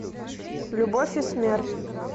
любовь и смерть